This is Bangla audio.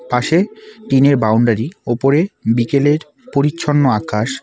পাশে টিন -এর বাউন্ডারি ওপরে বিকেলের পরিচ্ছন্ন আকাশ।